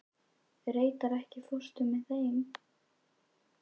Reidar, ekki fórstu með þeim?